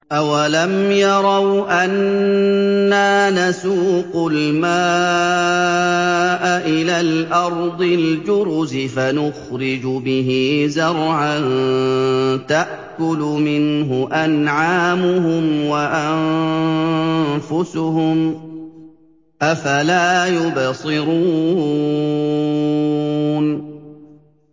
أَوَلَمْ يَرَوْا أَنَّا نَسُوقُ الْمَاءَ إِلَى الْأَرْضِ الْجُرُزِ فَنُخْرِجُ بِهِ زَرْعًا تَأْكُلُ مِنْهُ أَنْعَامُهُمْ وَأَنفُسُهُمْ ۖ أَفَلَا يُبْصِرُونَ